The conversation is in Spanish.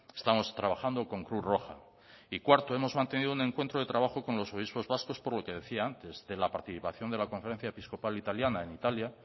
estamos trabajando con cruz roja y cuarto hemos mantenido un encuentro de trabajo con los obispos vascos por lo que decía antes de la participación de la conferencia episcopal italiana en italia